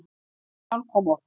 Kristján kom oft.